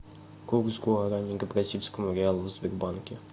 курс гуарани к бразильскому реалу в сбербанке